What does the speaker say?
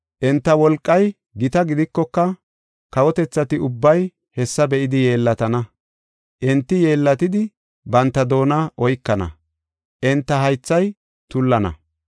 Enta wolqay gita gidikoka, kawotethati ubbay hessa be7idi yeellatana. Enti yeellatidi, banta doona oykana; enta haythay tullana.